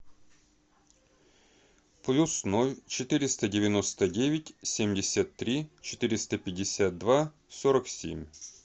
плюс ноль четыреста девяносто девять семьдесят три четыреста пятьдесят два сорок семь